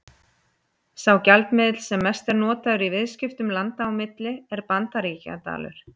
Sá gjaldmiðill sem mest er notaður í viðskiptum landa á milli er Bandaríkjadalur.